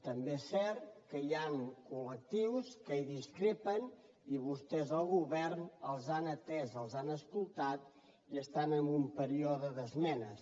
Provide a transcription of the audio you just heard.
també és cert que hi han colque en discrepen i vostès el govern els han atès els han escoltat i estan en un període d’esmenes